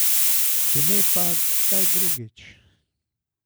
Če ne pa kdaj drugič.